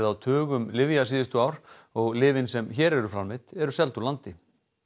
á tugum lyfja síðustu ár og lyfin sem hér eru framleidd eru seld úr landi